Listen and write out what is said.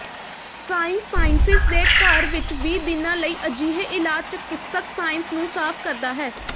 ਸਾਈਂਸਾਈਸਿਸ ਦੇ ਘਰ ਵਿਚ ਵੀਹ ਦਿਨਾਂ ਲਈ ਅਜਿਹੇ ਇਲਾਜ ਚਿਕਿਤਸਕ ਸਾਈਂਸ ਨੂੰ ਸਾਫ਼ ਕਰਦਾ ਹੈ